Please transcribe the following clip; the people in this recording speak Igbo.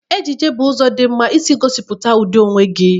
Ejiji bụ ụzọ dị mma isi gosipụta ụdị onwe gị.